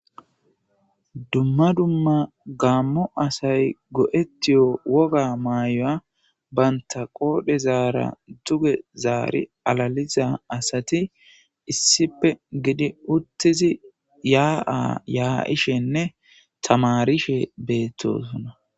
dumma dumma gaammo asay go7ettiyo woga mayy7oya baynta qoodhe zaara duge zaari alaliza asati issipe gidi uttizi yaa7a yaa7ishenne tamarishe beettosuna